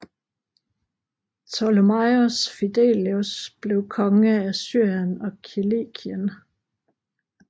Ptomelaios Filadelfos blev konge af Syrien og Kilikien